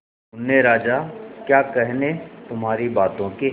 मुन्ने राजा क्या कहने तुम्हारी बातों के